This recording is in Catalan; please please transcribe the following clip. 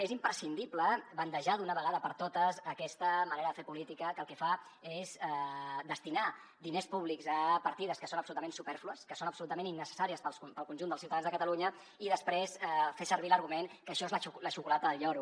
és imprescindible bandejar d’una vegada per totes aquesta manera de fer política que el que fa és destinar diners públics a partides que són absolutament supèrflues que són absolutament innecessàries per al conjunt dels ciutadans de catalunya i després fer servir l’argument que això és la xocolata del lloro